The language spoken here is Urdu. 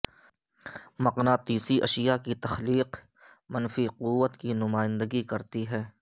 مقناطیسی اشیاء کی تخلیق اور منفی قوت کی نمائندگی کرتی ہے